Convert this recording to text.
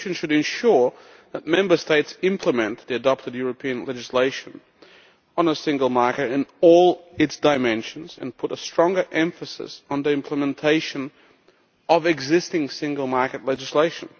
The Commission should ensure that Member States implement the European legislation adopted on the single market, in all its dimensions, and place stronger emphasis on the implementation of existing single market legislation.